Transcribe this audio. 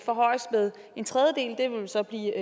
forhøjes med en tredjedel det vil så blive